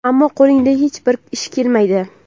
ammo qo‘lingdan hech bir ish kelmaydi.